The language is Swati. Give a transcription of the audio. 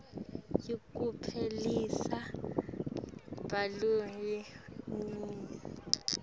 yekuphelisa bulunga bakho